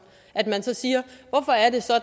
at man så siger